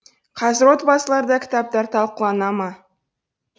қазір отбасыларда кітаптар талқылана ма